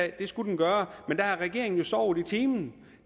at det skulle den gøre men regeringen har jo sovet i timen